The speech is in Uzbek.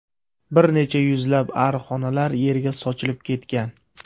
Bir necha yuzlab arixonalar yerga sochilib ketgan.